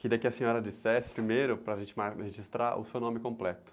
Queria que a senhora dissesse primeiro, para a gente mar, registrar o seu nome completo.